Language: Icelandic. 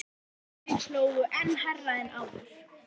Þeir hlógu enn hærra en áður.